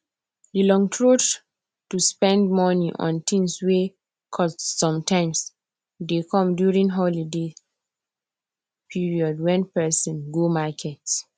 the long throat to spend money on things wey cost sometimes dey come during holiday period wen person go market